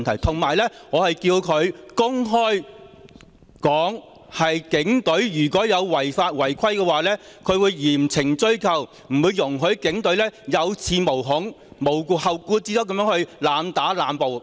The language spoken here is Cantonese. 此外，我是叫他公開表明，警隊如有違法和違規，他會嚴懲追究，不會容許警隊有恃無恐，無後顧之憂地濫打和濫捕。